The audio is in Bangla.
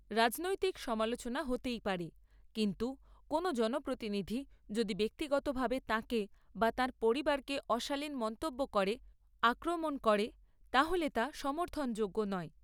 রাজনৈতিক সমালোচনা হতেই পারে, কিন্তু কোনও জনপ্রতিনিধি যদি ব্যক্তিগতভাবে তাঁকে বা তাঁর পরিবারকে অশালীন মন্তব্য করে আক্রমণ করে, তাহলে তা সমর্থনযোগ্য নয়।